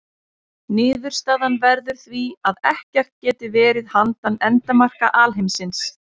Niðurstaðan verður því að ekkert geti verið handan endamarka alheimsins.